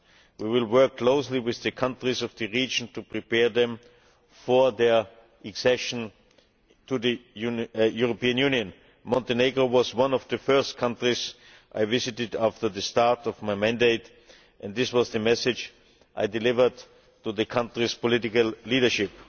We will work closely with the countries of the region to prepare them for their accession to the European Union. Montenegro was one of the first countries I visited after the start of my mandate and this was the message I delivered to the country's political leadership.